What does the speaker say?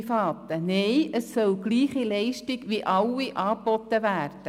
Nein, es soll von allen die gleiche Leistung angeboten werden.